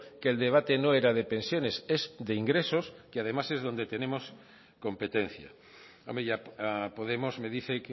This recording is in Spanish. que el debate no era de pensiones es de ingresos que además es donde tenemos competencia a podemos me dice